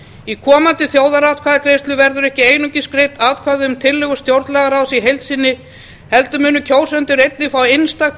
í komandi þjóðaratkvæðagreiðslu verða ekki einungis greidd atkvæði um tillögur stjórnlagaráðs í heild sinni heldur munu kjósendur einnig fá einstakt